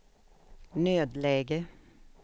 nödläge